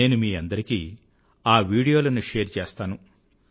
నేను మీ అందరికీ ఆ వీడియోలను షేర్ చేస్తాను